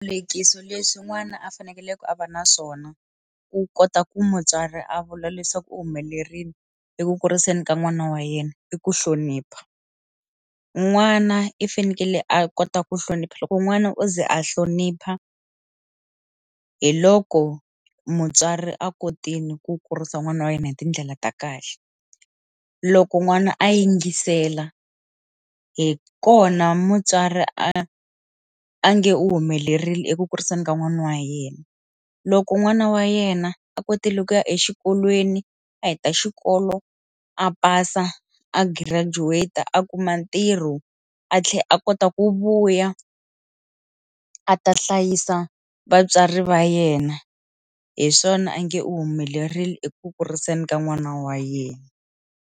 lekisi leswi n'wana a fanekele ku a va na swona ku kota ku mutswari a vula leswaku u humelerile eku kuriseni ka n'wana wa yena i ku hlonipha n'wana i fanekele a kota ku hlonipha loko n'wana u ze a hlonipha hi loko mutswari a kotile ku kurisa n'wana wa yena hi tindlela ta kahle loko n'wana a yingisela hi kona mutswari a a nge u humelerile eku kuriseni ka n'wana wa yena loko n'wana wa yena a kotile ku ya exikolweni a heta xikolo a pasa a graduate-ta a kuma ntirho a tlhela a kota ku vuya a ta hlayisa vatswari va yena hi swona a nge u humelerile eku kuriseni ka n'wana wa yena.